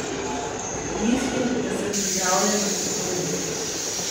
Mislim, da sem pripravljen na sezono.